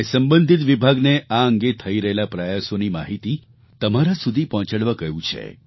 મેં સંબંધિત વિભાગને આ અંગે થઈ રહેલા પ્રયાસોની માહિતી તમારા સુધી પહોંચાડવા કહ્યું છે